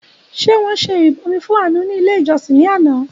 Ṣé wọn ṣe ìrìbọmi fún Àánú ní ilé ìjọsìn ní àná?